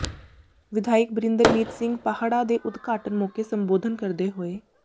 ਵਿਧਾਇਕ ਬਰਿੰਦਰਮੀਤ ਸਿੰਘ ਪਾਹੜਾ ਦੇ ਉਦਘਾਟਨ ਮੌਕੇ ਸੰਬੋਧਨ ਕਰਦੇ ਹੋਏ